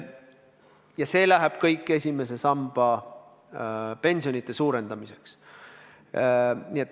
Ja see läheb kõik esimese samba pensionide suurendamiseks.